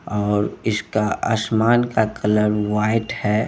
और इसका आसमान का कलर वाइट है।